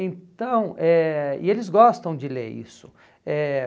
Então eh e eles gostam de ler isso. Eh